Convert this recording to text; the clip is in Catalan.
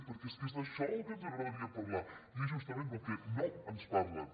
perquè és que és d’això del que ens agradaria parlar i és justament del que no ens parlen